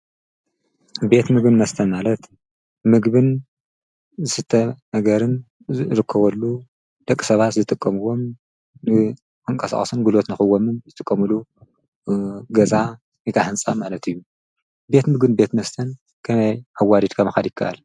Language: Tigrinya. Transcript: ቤት ምግብን መስተን ማለት ምግብን ዝስተን ነገርን ዝረከበሉ ደቂ ሰባት ዝጥቀሙዎም ክንቀሳቀሱን ጉልበት ንክቦምን ዝጥቀሙሉ ገዛ ወይከዓ ህንፃ ማለት እዩ። ቤት ምግብን ቤት መስተን ከመይ ኣዋዲድካ ምኻድ ይከኣል?